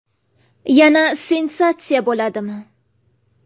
Yana sensatsiya bo‘ladimi?